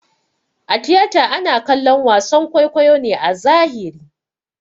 A tiyata ana kallon wason kwaikwayo ne a zahiri